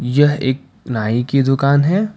यह एक नाई की दुकान है।